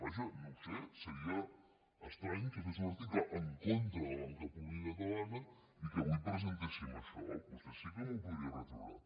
vaja no ho sé seria estrany que fes un article en contra de la banca pública catalana i que avui presentéssim això vostè sí que m’ho podria retreure